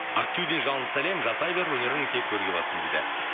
ақтөбеден жалынды сәлем жасай бер өнерің тек өрге бассын дейді